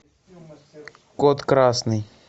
код красный